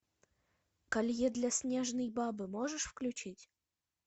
колье для снежной бабы можешь включить